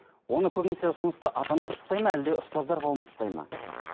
оны көбінесе ұсынысты ата аналар тастайды ма әлде ұстаздар қауымы тастайды ма